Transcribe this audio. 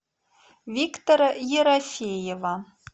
виктора ерофеева